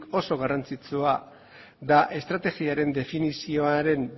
oso garrantzitsua da estrategiaren definizioaren